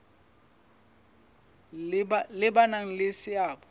le ba nang le seabo